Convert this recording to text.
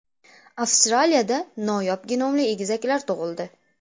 Avstraliyada noyob genomli egizaklar tug‘ildi.